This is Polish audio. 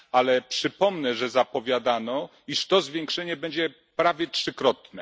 Ale przypomnę, że zapowiadano, iż to zwiększenie będzie prawie trzykrotne.